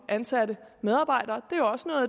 ansatte medarbejdere